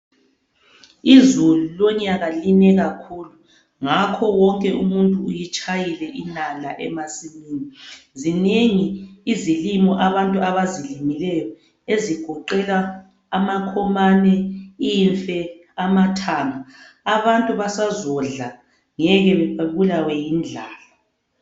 Izulu lonyaka line kakhulu ngakho wonke umuntu uyitshayile inala emasimini. Zinengi izilimo abantu abazilimileyo ezigoqela amakhomane, imfe, amathanga. Abantu basezodla ngeke babulawe yindlala.